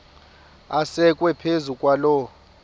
asekwe phezu kwaloo